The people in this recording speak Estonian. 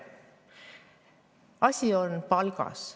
Asi on palgas.